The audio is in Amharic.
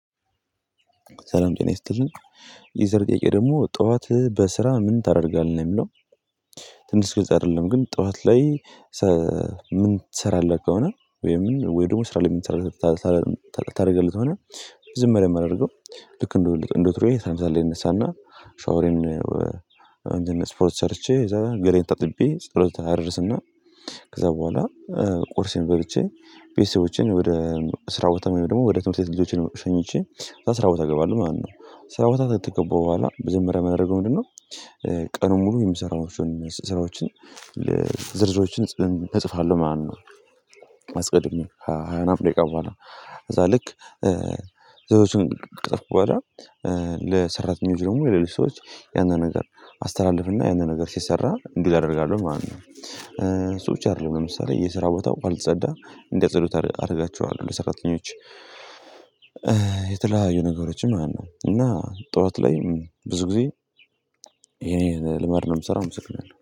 ሰላም ጤና ይስጥልን የዛሬ ጥያቄ ደግሞ ጠዋት በስራ ምን ታደርጋለህ ነው የሚለው? ትንሽ ግልጽ አይደለም ግን ጠዋት ላይ ምን ትሰራለህ ከሆነ ወይም ወይ ደግሞ ስራ ላይ ምን ትሰራለህ? ታደርገለት ሆነ ዝም ብለህ ማደርገው ልክ እንደውልህ እንደውትሮዬ ተመሳሳይ ልንሳና ሻወሬን። ስፖርት ሰርቼ እዛ ገላየን ታጥቤ ጸሎት አድርስና ከዛ በኋላ ቁርሴን በልቼ ቤተሰቦቼን ወደ ስራ ቦታ ወደ ደግሞ ወደ ትምህርት ቤተሰቦቼን ሸኝቼ ስራ ቦታ ገባለሁ ማለት ነው። ስራ ቦታ ተገባው በኋላ መጀመሪያ የማደርገው ምንድነው? ቀኑን ሙሉ የሚሰራውን ስራዎችን ዝርዝሮችን እጽፋለሁ ማለት ነው። አስቀድሜ ከሃያምናምን ደቂቃ በኃላ ከዛ ልክ ዝርዝሮችን ከጻፍሁ በኋላ ለሰራተኞች ደግሞ የሌለው ሰዎች ያንን ነገር አስተላልፍና ያንን ነገር ሲሰራ እንዲህ አደርጋለሁ ማለት ነው። ሰዎች አይደለም ለምሳሌ የስራ ቦታ ካልጸዳ እንዲያጸዱት አደርጋቸዋለሁ ለሰራተኞች። የተለያዩ ነገሮችም ማለት ነው እና ጠዋት ላይ ብዙ ጊዜ ይሄን ልማድ ነው የምሰራው አመሰግናለሁ።